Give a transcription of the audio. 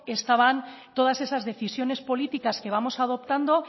estaban todas esas decisiones políticas que vamos a adoptando